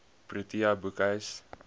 protea boekhuis